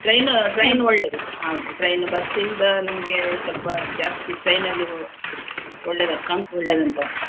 Train ಒಳ್ಳೇದು. ಹೌದು train bus ಇಂದ ನಮ್ಗೆ ಸ್ವಲ್ಪ ಜಾಸ್ತಿ train ಅಲ್ಲಿ ಹೊ~ ಒಳ್ಳೆದ~ ಒಳ್ಳೆದಂತ.